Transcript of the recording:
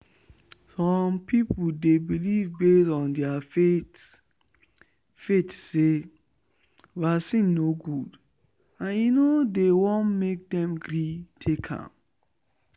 some people they believe base on their faith faith say vaccine no good and e no dey won make dem gree take am.